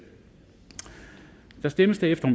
der stemmes derefter